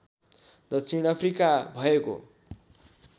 दक्षिण अफ्रिका भएको